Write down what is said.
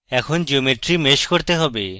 এখন geometry mesh করতে হবে